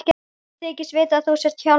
Ég þykist vita að þú sért Hjálmar.